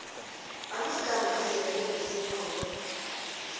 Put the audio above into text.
amagama azeleko nesibongo